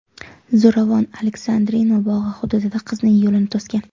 Zo‘ravon Aleksandrino bog‘i hududida qizning yo‘lini to‘sgan.